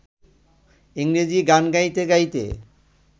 ইংরেজি গান গাইতে গাইতে